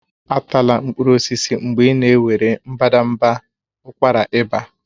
Atala mkpụrụ osisi mgbe ị na-ewere mbadamba ụkwara ịba